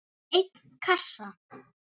einn kassa?